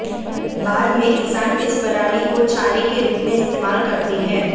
बाद में किसान इस पराली को चारे के रूप में इस्तेमाल करते हैं